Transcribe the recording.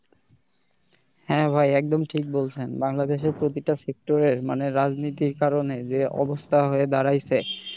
হ্যাঁ ভাই একদম ঠিক বলছেন বাংলাদেশের প্রতিটা sector এর মানে রাজনীতির কারণে যে অবস্থা হয়ে দাড়াইছে,